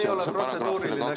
See ei ole protseduuriline küsimus.